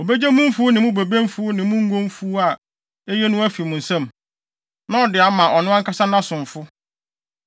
Obegye mo mfuw ne mo bobe mfuw ne mo ngo mfuw a eye no afi mo nsam, na ɔde ama ɔno ankasa nʼasomfo.